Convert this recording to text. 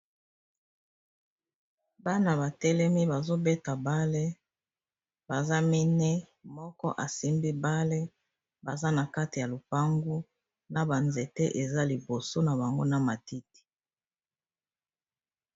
Bana ba telemi bazobeta bale baza mine, moko asimbi bale baza na kati ya lopangu na banzete eza liboso na bango na matiti